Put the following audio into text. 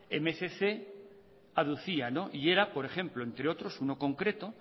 mil doscientos aducía y era por ejemplo entre otros uno concreto